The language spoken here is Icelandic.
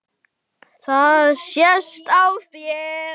Það sést á þér